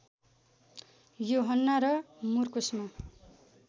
युहन्ना र मर्कुसमा